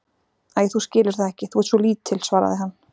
Æi, þú skilur það ekki, þú ert svo lítil, svaraði hann.